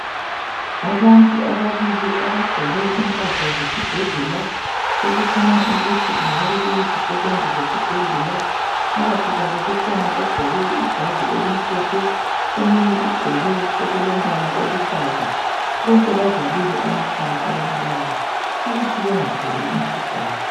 Abantu ababili abagqoke impahla zesibhedlela okukhanya ukuthi kungabe kuyizisebenzi zesibhedlela phakathi kwabo kukhona ogqqoke ijazi elimhlophe omunye ugqoke okulombala oluhlaza bonke bavalile amakhala abantu laba ukuthi bengatholi umkhuhlane